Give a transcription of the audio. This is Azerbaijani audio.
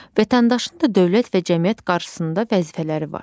Vətəndaşın da dövlət və cəmiyyət qarşısında vəzifələri var.